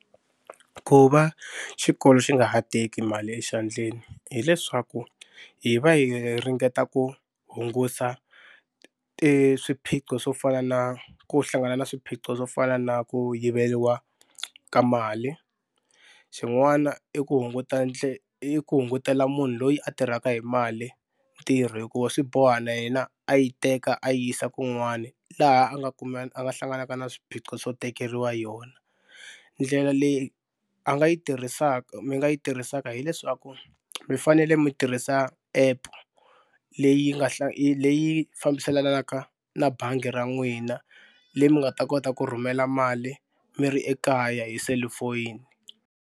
Ku va xikolo xi nga ha teki mali exandleni hileswaku hi va hi ringeta ku hungusa i swiphiqo swo fana na ku hlangana na swiphiqo swo fana na ku yiveriwa ka mali. Xin'wana i ku hunguta i ku hungutela munhu loyi a tirhaka hi mali ntirho hikuva swi boha na yena a yi teka a yi yisa kun'wana laha a nga a nga hlanganaka na swiphiqo swo tekeriwa yona. Ndlela leyi a nga yi mi nga yi tirhisaka hileswaku mi fanele mi tirhisa app leyi nga leyi fambiselanaka na bangi ra n'wina leswi mi nga ta kota ku rhumela mali mi ri ekaya hi selufoni.